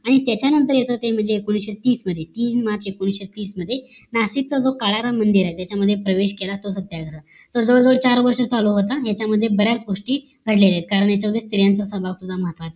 आणि त्याच्या नंतर येत ते एकोणीशे तीस मध्ये तीन मार्च एकोणीशे तीस मध्ये नाशिक मध्ये काळ्या च जो मंदिर आहे तो सत्याग्रह तो जवळ जवळ चार वर्ष चालले होते याच्या मध्ये बऱ्याच गोष्टी घडलेलं कारण याच्या मध्ये स्त्रियांचं सभा पण